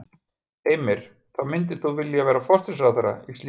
Heimir: Þá myndir þú vilja vera forsætisráðherra í slíkri stjórn?